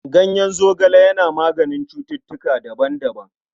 Ganyen zogale yana maganin cututtuka daban-daban..